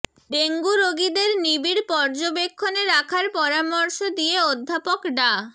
dengue রোগীদের নিবিড় পর্যবেক্ষণে রাখার পরামর্শ দিয়ে অধ্যাপক ডা